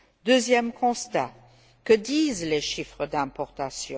Deuxième constat que disent les chiffres des importations?